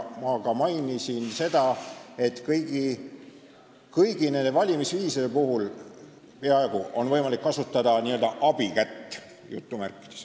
Ma ka mainisin seda, et peaaegu kõigi nende valimisviiside puhul on võimalik kasutada "abikätt".